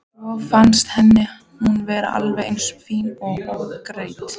Svo fannst henni hún vera alveg eins fín ógreidd.